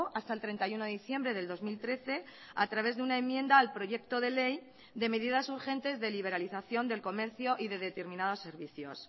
hasta el treinta y uno de diciembre del dos mil trece a través de una enmienda al proyecto de ley de medidas urgentes de liberalización del comercio y de determinados servicios